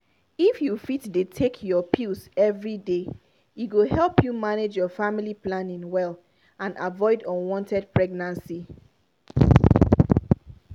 if you fit dey take your pills every day e go help you manage your family planning well and avoid unwanted pregnancy!